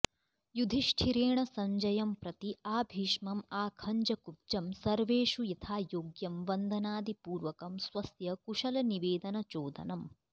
युधिष्ठिरेण सञ्जयंप्रति आभीष्मं आखञ्जकुब्जं सर्वेषु यथायोग्यं वन्दनादिपूर्वकं स्वस्य कुशलनिवेदनचोदनम्